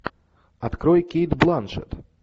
открой кейт бланшетт